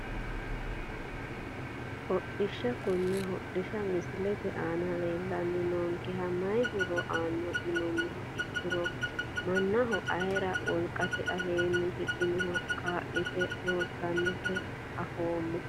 Hodhdhishsha konne hodhisha misilete aana leelani noonkeha mayi horo aano yinumoha ikiro manaho ayiire wolqate aleeni higinoha kaalite loosanota afoomo.